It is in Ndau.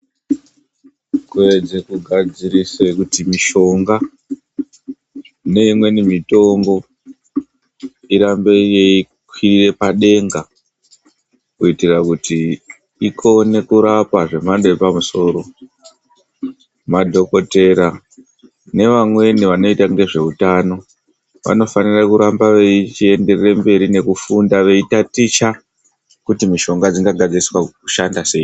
Kuedze kugadzirisa kuti mishonga neimweni mitombo irambe yeikwirira padenga, kuitira kuti ikone kurapa zvemhando yepamusoro, madhogodheya nevamweni vanoita ngezve utano, vanofanira kuramba veichienderere mberi nekufunda, veitaticha kuti mishonga dzingagadziriswa kushanda sei?